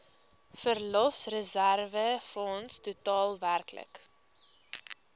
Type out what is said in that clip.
verlofreserwefonds totaal werklik